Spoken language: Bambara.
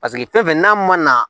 Paseke fɛn fɛn n'a ma na